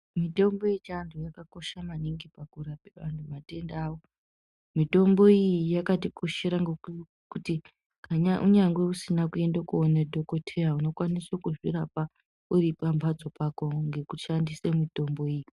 Mitombo yechando yakakosha maningi pakuramba antu matenda avo ,mitombo iyi yakatikoshera ngokuti kunyangwe usina kuenda koone dhokodheya unokwanise kuzvirapa uripamhatso pako ngekushandise mitombo iyi .